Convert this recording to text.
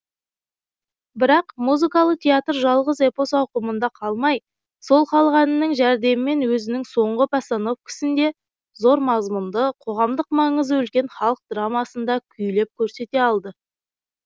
бірақ музыкалы театр жалғыз эпос ауқымында қалмай сол халық әнінің жәрдемімен өзінің соңғы постановкісінде зор мазмұнды қоғамдық маңызы үлкен халық драмасын да күйлеп көрсете алды